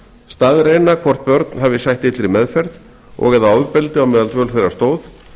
staðreyna hvort börn hafi sætt illri meðferð og eða ofbeldi á meðan dvöl þeirra stóð